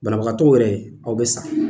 Banabagatɔw yɛrɛ, aw bɛ sa.